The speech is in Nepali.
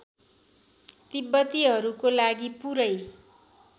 तिब्बतीहरूको लागि पुरै